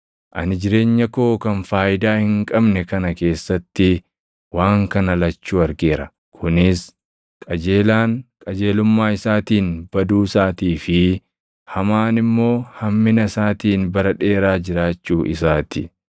Ani jireenya koo kan faayidaa hin qabne kana keessatti waan kana lachuu argeera; kunis: Qajeelaan qajeelummaa isaatiin baduu isaatii fi hamaan immoo hammina isaatiin bara dheeraa jiraachuu isaa ti.